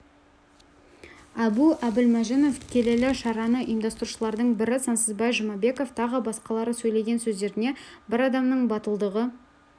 әбу әбілмәжінов келелі шараны ұйымдастырушылардың бірі сансызбай жұмабеков тағы басқалары сөйлеген сөздеріне бір адамның батылдығы